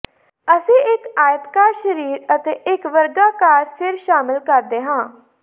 ਅਸੀਂ ਇਕ ਆਇਤਾਕਾਰ ਸਰੀਰ ਅਤੇ ਇਕ ਵਰਗਾਕਾਰ ਸਿਰ ਸ਼ਾਮਲ ਕਰਦੇ ਹਾਂ